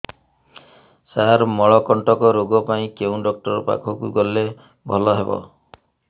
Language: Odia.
ସାର ମଳକଣ୍ଟକ ରୋଗ ପାଇଁ କେଉଁ ଡକ୍ଟର ପାଖକୁ ଗଲେ ଭଲ ହେବ